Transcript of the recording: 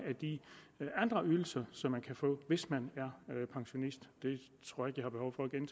andre ydelser som man kan få hvis man er pensionist